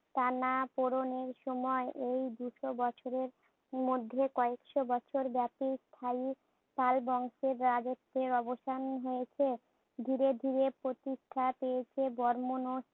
টানাপোড়নের সময়। এই দুইশ বছরের মধ্যে কয়েকশ বছরব্যাপী স্থায়ী পাল বংশের রাজত্বের অবসান হয়েছে। ধীরে ধীরে প্রতিষ্ঠা পেয়েছে বর্মণ ও